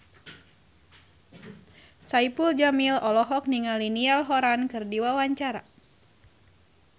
Saipul Jamil olohok ningali Niall Horran keur diwawancara